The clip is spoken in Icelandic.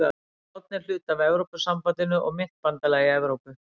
Spánn er hluti af Evrópusambandinu og myntbandalagi Evrópu.